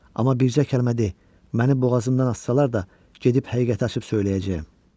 Amma bircə kəlmə de, məni boğazımdan assalar da gedib həqiqəti açıb söyləyəcəyəm.